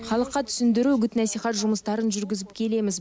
халыққа түсіндіру үгіт насихат жұмыстарын жүргізіп келеміз